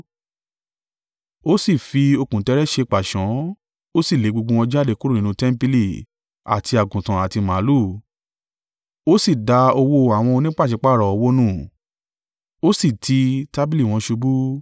Ó sì fi okùn tẹ́ẹ́rẹ́ ṣe pàṣán, ó sì lé gbogbo wọn jáde kúrò nínú tẹmpili, àti àgùntàn àti màlúù; ó sì da owó àwọn onípàṣípàrọ̀ owó nù, ó si ti tábìlì wọn ṣubú.